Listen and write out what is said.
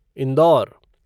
Indore